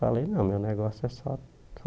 Falei, não, meu negócio é só só